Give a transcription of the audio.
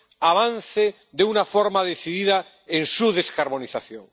avance de una forma decidida en su descarbonización.